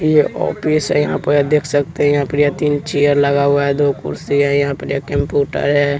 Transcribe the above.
ये ऑफिस है यहाँ पर देख सकते है यहाँ पर ये तीन चेयर लगा हुआ है दो कुर्सी है यहाँ पर एक कंप्यूटर है।